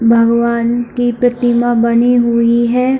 भगवान की प्रतिमा बनी हुई है।